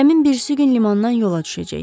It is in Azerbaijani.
Gəmi birisi gün limandan yola düşəcək.